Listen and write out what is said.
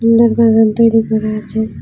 সুন্দর বাগান দুই দিকে রয়েছে।